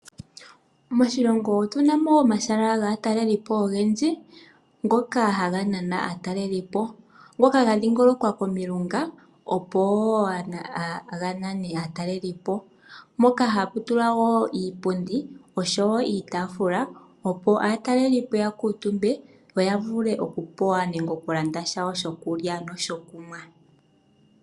Moshilongo otu na mo omashala gaataleli po ogendji ngoka haga nana aataleli po, ngoka ga dhingolokwa komilunga opo wo ga nane aataleli po moka hapu tulwa iipundi osho wo iitafuula opo aataleli po ya kuutumbe yo ya vule okupewa nokulanda shawo shokulya nokunwa.